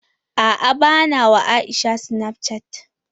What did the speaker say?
A'a bana wa Aisha snapchatting.